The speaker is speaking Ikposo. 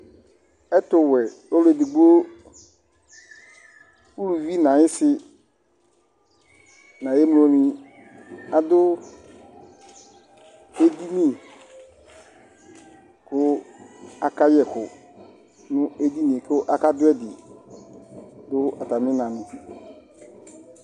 Ɛtuwɛ ɔluedigbo uluvi nu ayisi nayemloni adu edini ku akayɛ ɛku nu edinie ku akadu ɛdi katami ina